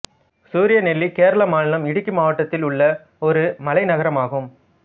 சூரியநெல்லி கேரள மாநிலம் இடுக்கி மாவட்டத்தில் உள்ள ஒரு மலை நகரமாகும்